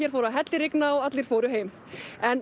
fór að hellirigna og allir fóru heim en